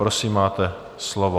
Prosím, máte slovo.